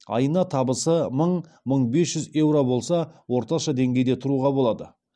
айына табысы мың мың бес жүз еуро болса орташа деңгейде тұруға болады